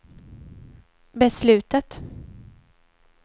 beslutet